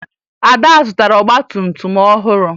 Ada zụtara ọgbatumtum ọhụrụ